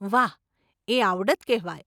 વાહ, એ આવડત કહેવાય.